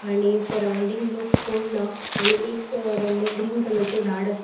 आणि सराउंडिंग लोक कोण ना आणि एक वडले ग्रीन कलरचे झाड अ ----